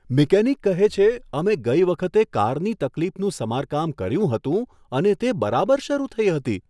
Mechanic કહે છે, અમે ગઈ વખતે કારની તકલીફનું સમારકામ કર્યું હતું અને તે બરાબર શરૂ થઈ હતી.